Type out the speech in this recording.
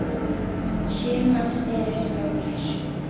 Sjö manns eru sárir.